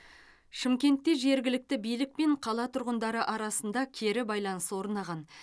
шымкентте жергілікті билік пен қала тұрғындары арасында кері байланыс орнаған